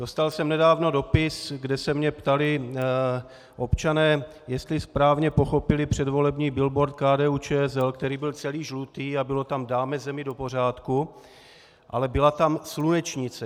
Dostal jsem nedávno dopis, kde se mě ptali občané, jestli správně pochopili předvolební billboard KDU-ČSL, který byl celý žlutý a bylo tam "dáme zemi do pořádku", ale byla tam slunečnice.